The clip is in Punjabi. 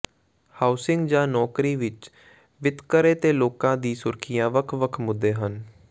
ਹਾਊਸਿੰਗ ਜਾਂ ਨੌਕਰੀ ਵਿੱਚ ਵਿਤਕਰੇ ਤੋਂ ਲੋਕਾਂ ਦੀ ਸੁਰੱਖਿਆ ਵੱਖ ਵੱਖ ਮੁੱਦੇ ਹਨ